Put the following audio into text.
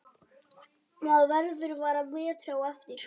Maður verður bara betri á eftir.